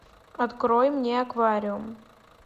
открой мне аквариум